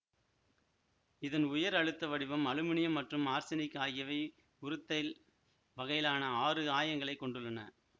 இதன் உயர் அழுத்த வடிவம் அலுமினியம் மற்றும் ஆர்செனிக் ஆகியவை உரூத்தைல் வகையிலான ஆறு ஆயங்களைக் கொண்டுள்ளன